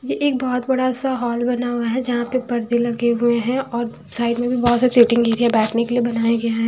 ये एक बहुत बड़ा सा हॉल बना हुआ है जहाँ पे पर्दे लगे हुए हैं और साइड में भी बहुत सारा सिटिंग एरिया बैठने के लिए बनाया गया है।